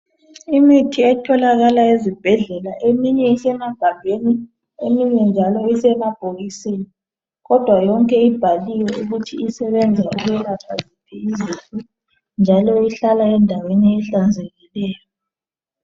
Imithi etholakala ezibhedlela eminye isemagabheni. Eminye njalo usemabhokisini. Kodwa yonke ibhaliwe ukuthi isebenza ukwelapha ziphi izifo. Njalo ihlala endaweni ehlanzekileyo.